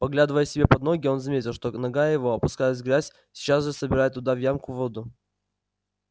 поглядывая себе под ноги он заметил что нога его опускаясь в грязь сейчас же собирает туда в ямку воду